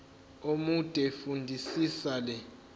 omude fundisisa le